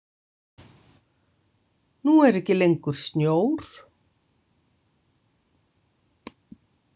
Nú er ekki lengur snjór.